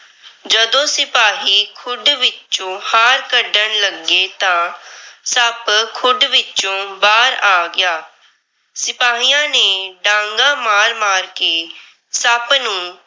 ਜਦੋਂ ਸਿਪਾਹੀ ਖੁੱਡ ਵਿੱਚੋ ਹਾਰ ਕੱਢਣ ਲੱਗੇ ਤਾਂ ਸੱਪ ਖੁੱਡ ਵਿੱਚੋ ਬਾਹਰ ਆ ਗਿਆ। ਸਿਪਾਹੀਆਂ ਨੇ ਡਾਂਗਾਂ ਮਾਰ-ਮਾਰ ਕੇ ਸੱਪ ਨੂੰ